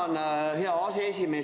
Tänan, hea aseesimees!